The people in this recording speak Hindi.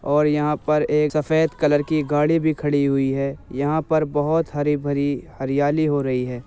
और यहां पर एक सफ़ेद कलर की गाड़ी भी खड़ी हुई है | यहां पर बोहोत हरी-भरी हरियाली हो रही है।